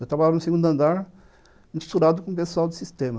Eu trabalhava no segundo andar, misturado com o pessoal do sistema.